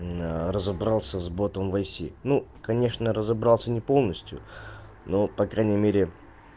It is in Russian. разобрался с ботом в айси ну конечно разобрался не полностью но по крайней мере